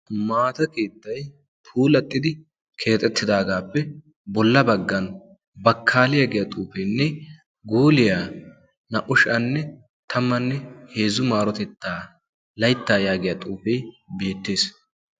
Maata keetay puulatidi keexxetidaagappe bolla baggan bakkaliyaa giyaa xuufenne gooliyaa naa''u sha'anne tammanne heezzu marotetta laytta yaagiyaa xuufe beettees.